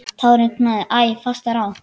Tárin knúðu æ fastar á.